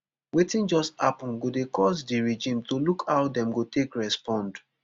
wetin just happun go dey cause di regime to look how dem go take respond